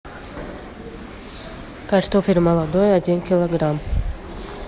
картофель молодой один килограмм